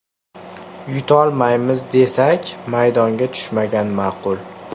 Yutolmaymiz desak, maydonga tushmagan ma’qul.